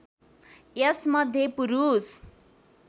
यस मध्ये पुरूष